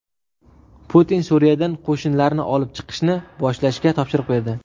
Putin Suriyadan qo‘shinlarni olib chiqishni boshlashga topshiriq berdi.